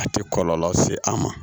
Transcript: A tɛ kɔlɔlɔ se a ma